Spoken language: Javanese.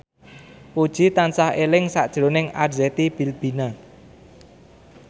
Puji tansah eling sakjroning Arzetti Bilbina